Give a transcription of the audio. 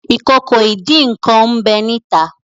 Ìkòkò ìdín-nǹkan n'be ni ita.